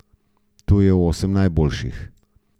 Tu je osem najboljših.